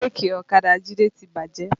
Bírèkì ọ̀kadà Jide ti bàjẹ́